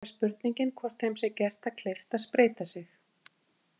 Þá er spurningin hvort þeim sé gert það kleift að spreyta sig.